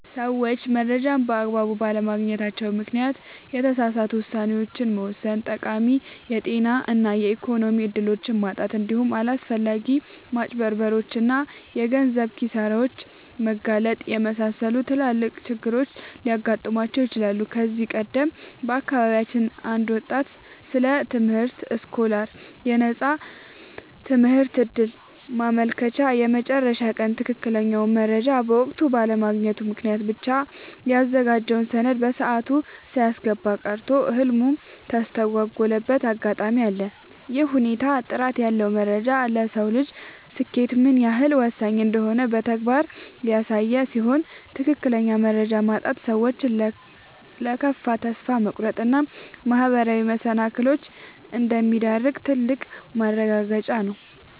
ሰዎች መረጃን በአግባቡ ባለማግኘታቸው ምክንያት የተሳሳቱ ውሳኔዎችን መወሰን፣ ጠቃሚ የጤና እና የኢኮኖሚ እድሎችን ማጣት፣ እንዲሁም ለአላስፈላጊ ማጭበርበሮች እና የገንዘብ ኪሳራዎች መጋለጥን የመሰሉ ትላልቅ ችግሮች ሊገጥሟቸው ይችላሉ። ከዚህ ቀደም በአካባቢያችን አንድ ወጣት ስለ ትምህርት ስኮላርሺፕ (የነፃ ትምህርት ዕድል) ማመልከቻ የመጨረሻ ቀን ትክክለኛውን መረጃ በወቅቱ ባለማግኘቱ ምክንያት ብቻ ያዘጋጀውን ሰነድ በሰዓቱ ሳያስገባ ቀርቶ ህልሙ የተስተጓጎለበት አጋጣሚ አለ። ይህ ሁኔታ ጥራት ያለው መረጃ ለሰው ልጅ ስኬት ምን ያህል ወሳኝ እንደሆነ በተግባር ያሳየ ሲሆን፣ ትክክለኛ መረጃ ማጣት ሰዎችን ለከፋ ተስፋ መቁረጥ እና ማህበራዊ መሰናክሎች እንደሚዳርግ ትልቅ ማረጋገጫ ነው።